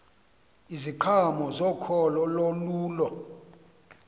iziqhamo zokholo olululo